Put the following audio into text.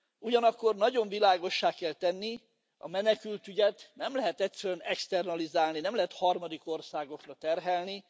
Ugyanakkor nagyon világossá kell tenni a menekültügyet nem lehetett externalizálni, nem lehet harmadik országokra terhelni.